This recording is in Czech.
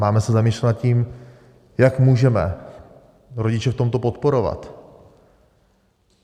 Máme se zamýšlet nad tím, jak můžeme rodiče v tomto podporovat.